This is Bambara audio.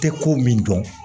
Tɛ ko min dɔn